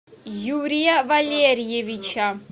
юрия валериевича